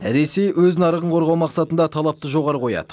ресей өз нарығын қорғау мақсатында талапты жоғары қояды